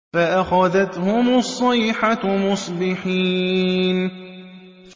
فَأَخَذَتْهُمُ الصَّيْحَةُ مُصْبِحِينَ